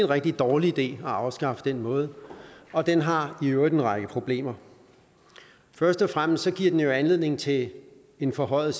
rigtig dårlig idé at afskaffe den måde og den har i øvrigt en række problemer først og fremmest giver den anledning til en forhøjet